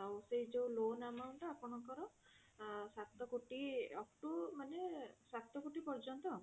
ଆଉ ସେଇ ଯୋଉ loan amount ଟା ଆପଣଙ୍କର ସାତ କୋଟି upto ମାନେ ସାତ କୋଟି ପର୍ଯ୍ୟନ୍ତ